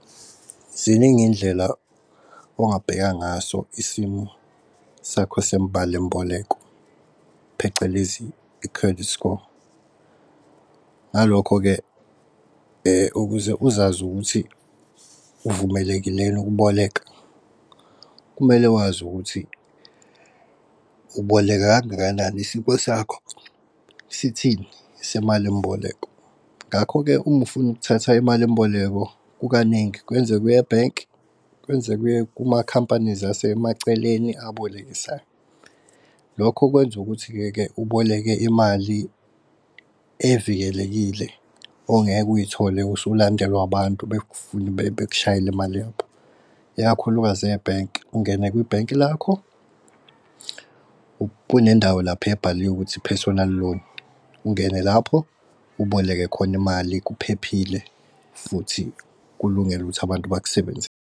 Ziningi indlela ongabheka ngaso isimo sakho semali mboleko, phecelezi i-credit score. Ngalokho-ke ukuze uzazi ukuthi uvumelekile yini ukuboleka, kumele wazi ukuthi uboleka kangakanani isimo sakho sithini semali mboleko. Ngakho-ke uma ufuna ukuthatha imali mboleko kukaningi kwenzeka eye ebhenki, kwenzeke uye kumakhampani asemaceleni abolekisayo. Lokho kwenza ukuthi ke ke uboleke imali evikelekile ongeke uyithole usulandelwa abantu bekufuna bekushayele imali yakho, ikakhulukazi ebhenki. Ungene kwibhenki lakho kunendawo lapha ebhaliwe ikuthi personal loan ungene lapho uboleke khona imali kuphephile futhi kulungele ukuthi abantu .